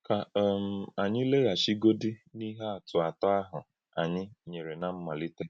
Kà um ànyí làghàchìgodí n’íhè àtụ̀ átọ̀ ahụ́ ànyí nyèrè ná mmálítè.